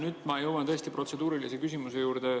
Nüüd ma jõuan tõesti protseduurilise küsimuse juurde …